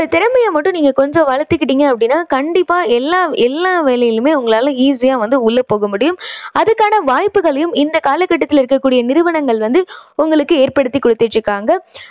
திறமையை மட்டும் கொஞ்சம் வளத்துக்கிட்டீங்க அப்படின்னா கண்டிப்பா எல்லா எல்லா வேளைகளிலுமே உங்களால easy யா வந்து உள்ள போக முடியும். அதுக்கான வாய்ப்புகளையும் இந்தக் காலக்கட்டத்துல இருக்கக்கூடிய நிறுவனங்கள் வந்து உங்களுக்கு ஏற்படுத்திக் குடுத்துட்டு இருக்காங்க.